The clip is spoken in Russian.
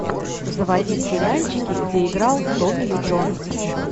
заводи сериальчики где играл томми ли джонс